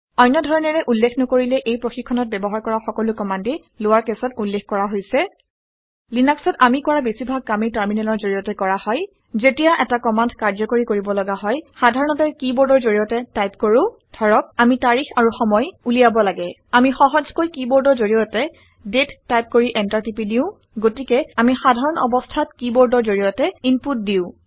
অন্য ধৰণেৰে উল্লেখ নকৰিলে এই প্ৰশিক্ষণত ব্যৱহাৰ কৰা সকলো কমাণ্ডেই লৱাৰ কেছত উল্লেখ কৰা হৈছে। লিনাক্সত আমি কৰা বেছিভাগ কামেই টাৰমিনেলৰ জৰিয়তে কৰা হয়। যেতিয়া এটা কমাণ্ড কাৰ্যকৰী কৰিব লগা হয় সাধাৰণতে কিবৰ্ডৰ জৰিয়তে টাইপ কৰোঁ। ধৰক আামি তাৰিখ আৰু সময় উলিয়াব লাগে। আমি সহজকৈ কিবৰ্ডৰ জৰিয়তে দাঁতে টাইপ কৰি এন্টাৰ টিপি দিওঁ গতিকে আমি সাধাৰণ অৱস্থাত কিবৰ্ডৰ জৰিয়তে ইনপুট দিওঁ